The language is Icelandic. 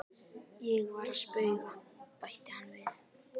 Ég var að spauga, bætti hann við.